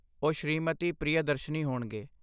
ਉਹ ਸ਼੍ਰੀਮਤੀ ਪ੍ਰਿਯਦਰਸ਼ਨੀ ਹੋਣਗੇ।